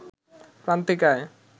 প্রান্তিক আয়